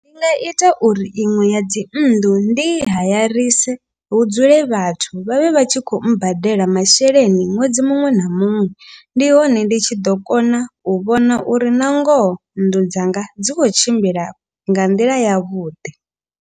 Ndi nga ita uri iṅwe ya dzi nnḓu ndi hayarise hu dzule vhathu vhavhe vha tshi khou mbadela masheleni ṅwedzi muṅwe na muṅwe. Ndi hone ndi tshi ḓo kona u vhona uri na ngoho nnḓu dzanga dzi khou tshimbila nga nḓila ya vhuḓi.